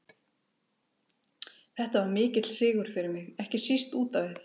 Þetta var mikill sigur fyrir mig, ekki síst út á við.